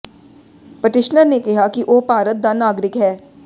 petitioner ਨੇ ਕਿਹਾ ਕਿ ਉਹ ਭਾਰਤ ਦਾ ਨਾਗਰਿਕ ਹੈ